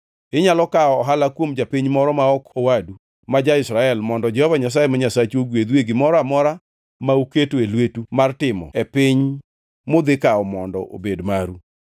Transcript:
Inyalo kawo ohala kuom japiny moro to ok owadu ma ja-Israel mondo Jehova Nyasaye ma Nyasachu ogwedhu e gimoro amora ma uketoe lwetu mar timo e piny mudhikawo mondo obed maru.